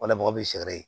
Wala mɔgɔ bɛ sɛ ye